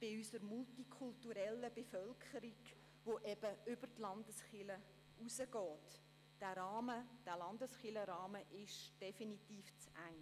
Für unsere multikulturelle Bevölkerung, die über die Landeskirchen hinausgeht, ist der Rahmen der Landeskirchen definitiv zu eng.